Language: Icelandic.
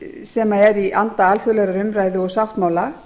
sem eru í anda alþjóðlegrar umræðu og sáttmála